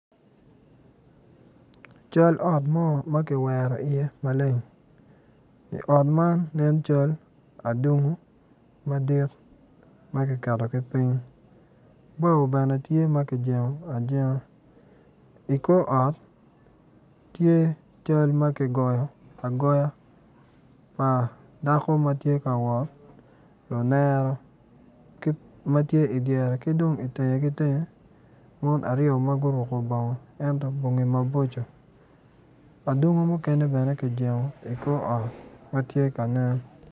Cal ot mo ma kiwero iye maleng i ot man nen cal adungu madit ma kiketogi piny bao bene tye ma kijengo ajenga i kor ot tye cal ma kigoyo agoya pa dako ma tye ka wot mulere ma tye idyere ki dong itenge ki tenge mon aryo ma guruko bongo ento bongi maboco adungo mukene bene kijengo i kor ot ma tye ka nen.